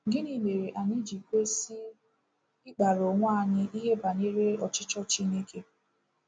Gịnị mere anyị ji kwesị ịkpaara onwe anyị ìhè banyere ọchịchọ Chineke?